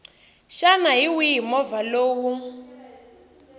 xana hi wihi movha lowu